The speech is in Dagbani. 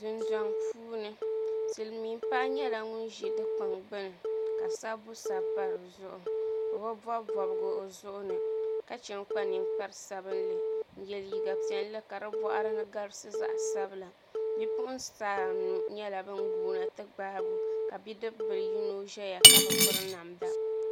Dundɔŋ puuni silmiin paɣa nyɛla ŋun ʒi dikpuni gbuni ka sabbu sabi pa dizuɣu o bi bob bobgi o zuɣu ni ka chɛ n kpa ninkpari sabinli n yɛ liiga piɛlli ka di boɣari ni garisi zaɣ sabila Bipuɣunsi anu nyɛla bin guuna ti gbaagi o ka bidib bili yino ʒɛya ka bi piri namda